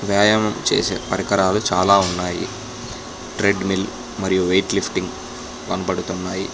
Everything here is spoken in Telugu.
వ్యాయామం చేసే పరికరాలు చాలా ఉన్నాయి. ట్రెడ్మిల్ మరియు వెయిట్ లిఫ్టింగ్ కనపడుతున్నాయి.